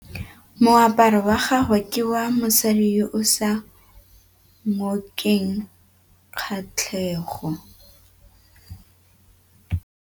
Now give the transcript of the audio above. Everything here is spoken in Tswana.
Moaparô wa gagwe ke wa mosadi yo o sa ngôkeng kgatlhegô.